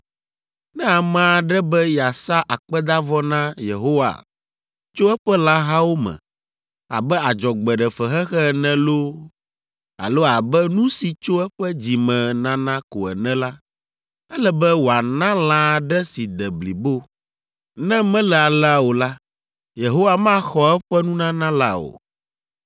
Ne ame aɖe be yeasa akpedavɔ na Yehowa tso eƒe lãhawo me, abe adzɔgbeɖefexexe ene loo alo abe nu si tso eƒe dzi me nana ko ene la, ele be wòana lã aɖe si de blibo. Ne mele alea o la, Yehowa maxɔ eƒe nunana la o.